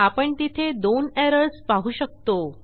आपण तिथे दोन एरर्स पाहु शकतो